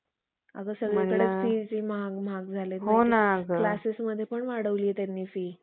अगं सगळीकडे फीझ महाग महाग झालेत. classes मध्ये पण वाढवलीए त्यांनी फि